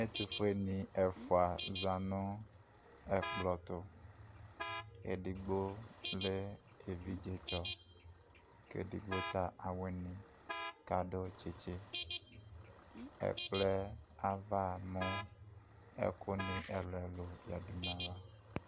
Ɛtʊƒueɲi ɛƒʊa zaɲʊ ɛkplotu Edigbo lɛ evidzetsɔ, kɛ edigbo ta awɩɲi kadʊ tsitsɩ Ɛkploɛ ava ɲu ɛkʊni ɛlʊɛlʊ yadu ɲava